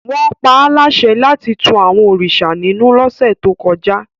Wọ́n pa á láṣẹ láti tu àwọn òrìṣà ninu lọ́sẹ̀ tó kọjá